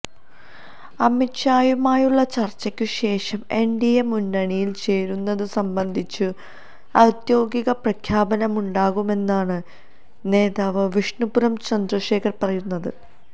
അമിത് ഷായുമായുള്ള ചര്ച്ചയ്ക്കുശേഷം എന്ഡിഎ മുന്നണിയില് ചേരുന്നതു സംബന്ധിച്ചു ഔദ്യോഗിക പ്രഖ്യാപനമുണ്ടാകുമെന്നാണ് നേതാവ് വിഷ്ണുപുരം ചന്ദ്രശേഖരന് പറയുന്നത്